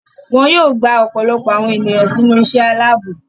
Wọn yóò gba ọ̀pọ̀lọpọ̀ àwọn ènìyàn sínú iṣẹ́ aláàbò.